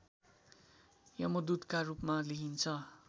यमदूतका रूपमा लिइन्छ